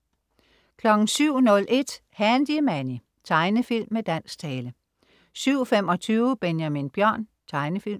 07.01 Handy Manny. Tegnefilm med dansk tale 07.25 Benjamin Bjørn. Tegnefilm